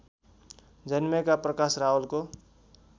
जन्मेका प्रकाश रावलको